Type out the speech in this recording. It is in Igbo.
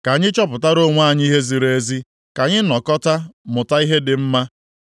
Ka anyị chọpụtara onwe anyị ihe ziri ezi; ka anyị nọkọta mụta ihe dị mma.